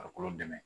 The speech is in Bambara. Farikolo dɛmɛ